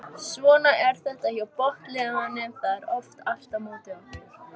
Svona er þetta hjá botnliðunum það er oft allt á móti okkur.